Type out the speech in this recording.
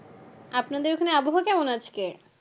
আপনাদের ওখানে আবহাওয়া কেমন আজকে?